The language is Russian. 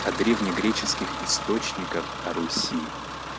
о древнегреческих источниках о руси